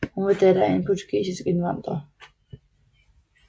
Hun var datter af en portugisisk indvandrer